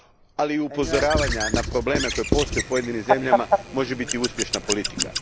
ali i upozoravanja na probleme koji postoje u pojedinim zemljama može biti uspješna politika.